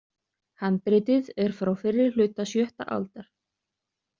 Handritið er frá fyrri hluta sjötta aldar.